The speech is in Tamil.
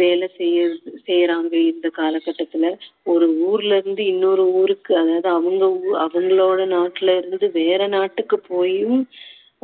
வேலை செய்~ செய்யுறாங்க இந்த காலகட்டத்துல ஒரு ஊர்ல இருந்து இன்னொரு ஊருக்கு அதாவது அவங்க ஊ~ அவங்களோட நாட்டிலிருந்து வேற நாட்டுக்கு போயும்